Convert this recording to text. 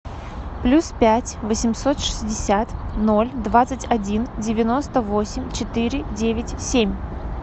плюс пять восемьсот шестьдесят ноль двадцать один девяносто восемь четыре девять семь